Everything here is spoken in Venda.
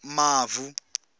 mavu